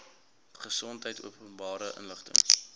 gesondheid openbare inligting